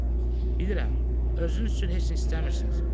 Cənab, bilirəm, özünüz üçün heç nə istəmirsiniz.